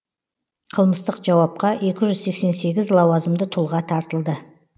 қылмыстық жауапқа екі жүз сексен сегіз лауазымды тұлға тартылды